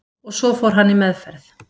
Og svo fór hann í meðferð